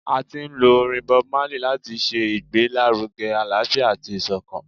A ti lo orin BobMarley lati ṣe igbelaruge alaafia ati isokan.